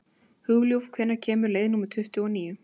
Hugljúf, hvenær kemur leið númer tuttugu og níu?